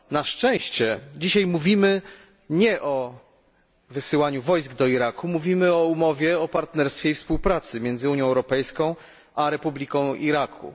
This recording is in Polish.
Na szczęście dzisiaj mówimy nie o wysyłaniu wojsk do Iraku, mówimy o umowie o partnerstwie i współpracy między Unią Europejską a Republiką Iraku.